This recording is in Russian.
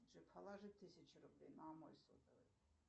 джой положи тысячу рублей на мой сотовый